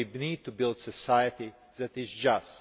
We need to build a society that is just.